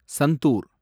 Santoor